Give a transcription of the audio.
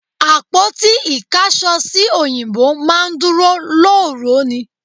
Àpótí ìkáṣọsí òyìnbó máa ń dúró lóòró ni